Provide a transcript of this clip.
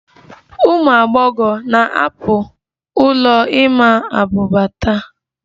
Ụmụ agbọghọ na-ahapụ ụlọ ịma abuba taa